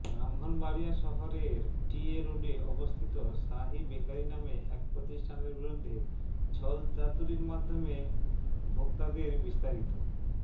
ব্রাহ্মণবাড়িয়া শহরের T A রোডে অবস্থিত শাহী বেকারি নামে এক প্রতিষ্ঠানের বিরুদ্ধে ছলচাতুরির মাধ্যমে ভোক্তাদেরবিস্তারিত